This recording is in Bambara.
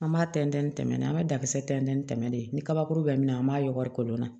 An b'a tɛntɛn ni tɛmɛ na an ka da kisɛ tɛntɛn ni tɛmɛ de ye ni kabakuru bɛ min na an b'a yɔgɔri kolon na